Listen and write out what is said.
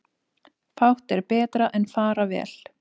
Fátt er betra en fara vel.